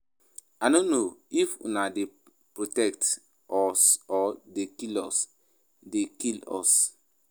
I no know if una dey protect us or dey kill us dey kill us